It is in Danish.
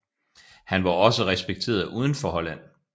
Han var også respekteret uden for Holland